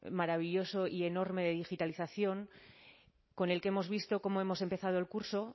maravilloso y enorme de digitalización con el que hemos visto cómo hemos empezado el curso